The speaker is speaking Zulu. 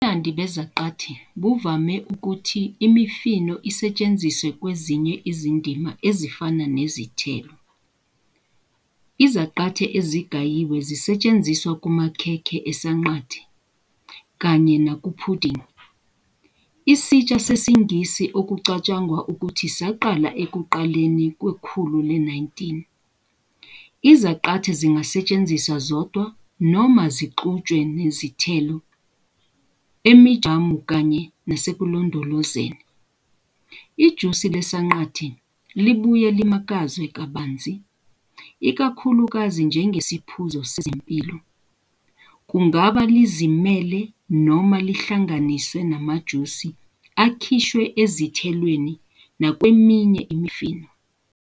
Ubumnandi bezaqathe buvumela ukuthi imifino isetshenziswe kwezinye izindima ezifana nezithelo. Izaqathe ezigayiwe zisetshenziswa kumakhekhe esanqante, kanye nakaphudingi, isitsha sesiNgisi okucatshangwa ukuthi saqala ekuqaleni kwekhulu le-19. Izaqathe zingasetshenziswa zodwa noma zixutshwe nezithelo emijamu kanye nasekulondolozeni. Ijusi leSanqante libuye limakazwe kabanzi, ikakhulukazi njengesiphuzo sezempilo, kungaba yizimele noma lihlanganiswe namajusi akhishwe ezithelweni nakweminye imifino.